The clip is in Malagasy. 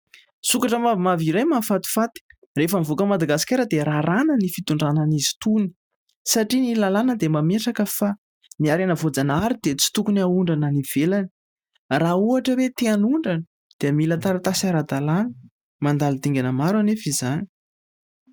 Sokatra mavomavo iray mahafatifaty. Rehefa mivoaka an'i Madagasikara dia raràna ny fitondrana an'izy itony satria ny lalàna dia mametraka fa ny harena voajanahary dia tsy tokony ahondrana any ivelany. Raha ohatra hoe te hanondrana dia mila taratasy ara-dalàna. Mandalo dingana maro nefa izany.